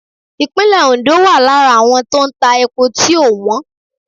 . Ìpínlè Ondo wà lára àwọn tó ń tà epo tieò wọ́n.